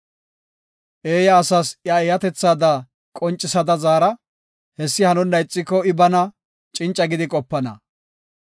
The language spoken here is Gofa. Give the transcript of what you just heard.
Eeya asas iya eeyatetha qoncisada zaara; hessi hanonna ixiko I bana cinca gidi qopana.